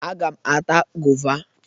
Aga m ata goova.